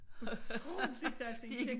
Utroligt altså